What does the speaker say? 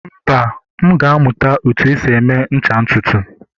mba, m ga-amụta otú e si eme ncha ntutu